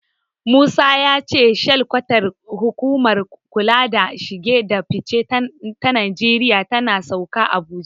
Musa ya ce shilkwatar hukumar kula da shige da fice ta Najeriya tana Sauka, Abuja.